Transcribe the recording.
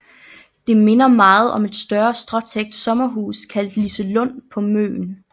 Det minder meget om et større stråtækt sommerhus kaldet Liselund på Møn